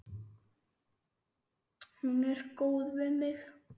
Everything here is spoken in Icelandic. Hún er góð við mig.